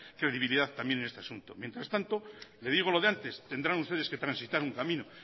credibilidad también en este asunto mientras tanto le digo lo de antes tendrán ustedes que transitar un camino